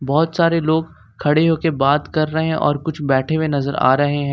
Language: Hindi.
बहोत सारे लोग खड़े होकर बात कर रहे हैं और कुछ बैठे हुए नजर आ रहे हैं।